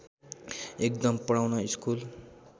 एकदम पढाउन स्कुल